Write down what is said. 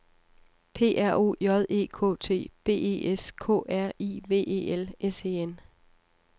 P R O J E K T B E S K R I V E L S E N